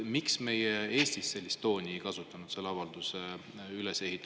Miks meie Eestis oma avalduses sellist tooni ei kasutanud?